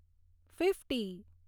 fifty